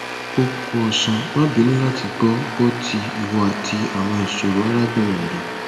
o ku osan ma binu lati gbo gbo ti iwo ati awon isoro arabinrin re